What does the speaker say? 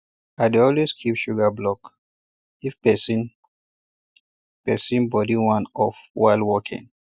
i dey always keep sugar block if person person body wan off while working